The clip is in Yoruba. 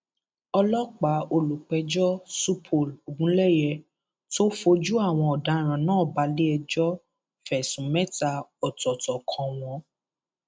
ọlọpàá olùpẹjọ supol ogunleye tó fojú àwọn ọdaràn náà balẹẹjọ fẹsùn mẹta ọtọọtọ kan wọn